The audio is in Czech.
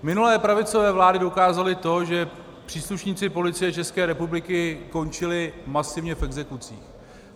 Minulé pravicové vlády dokázaly to, že příslušníci Policie České republiky končili masivně v exekucích.